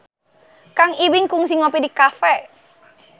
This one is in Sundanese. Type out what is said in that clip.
Kang Ibing kungsi ngopi di cafe